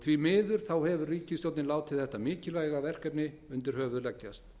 því miður hefur ríkisstjórnin látið þetta mikilvæga verkefni undir höfuð leggjast